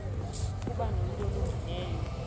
ukuba nomntu olungileyo